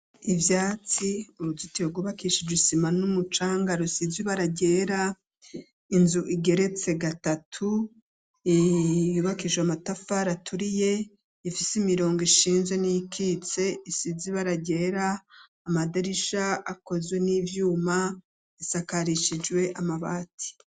Ivyatsi urututiro gubakish ijisima n'umucanga rusizi baragera inzu igeretse gatatu iyubakisho amatafa raturiye ifise imirongo ishinzwe n'ikitse isizi baragera amadarisha akozwe n'ivyuma isakarishijwe amabati.